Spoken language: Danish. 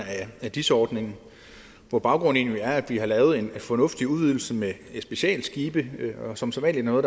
af dis ordningen hvor baggrunden egentlig er at vi har lavet en fornuftig udvidelse med specialskibe og som sædvanlig når